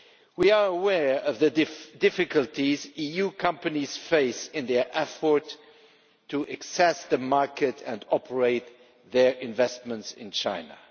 We are aware of the difficulties EU companies face in their effort to access the market and operate their investments in China.